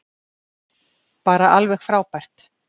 Bara alveg frábært.